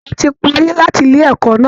A ti parí láti ilé ẹ̀kọ́ náà